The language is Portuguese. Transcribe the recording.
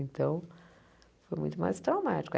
Então, foi muito mais traumático.